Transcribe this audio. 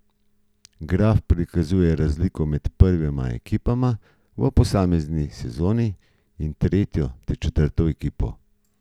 Graf prikazuje razliko med prvima ekipa v posamezni sezoni in tretjo ter četrto ekipo.